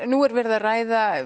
nú er verið að ræða